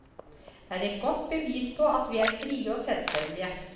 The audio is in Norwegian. Det er et godt bevis på at vi er frie og selvstendige.